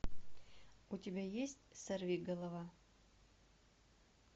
у тебя есть сорвиголова